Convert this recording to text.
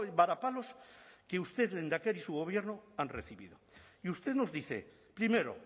varapalos que usted lehendakari y su gobierno han recibido y usted nos dice primero